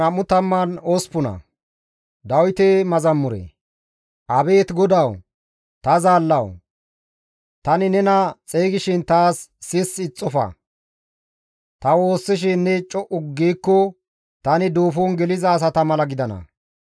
Abeet GODAWU! Ta Zaallawu! Tani nena xeygishin taas sissi ixxofa; ta waassishin ne co7u giikko tani duufon geliza asata mala gidana.